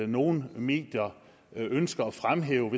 nogle medier ønsker at fremhæve